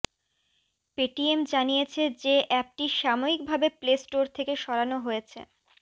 Paytm জানিয়েছে যে অ্যাপটি সাময়িকভাবে প্লে স্টোর থেকে সরানো হয়েছে